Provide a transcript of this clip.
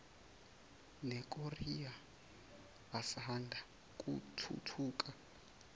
nekorea asanda kuthuthuka